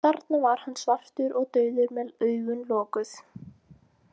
Þarna var hann svartur og dauður með augun lokuð.